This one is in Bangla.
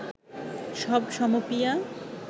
সব সমপিয়া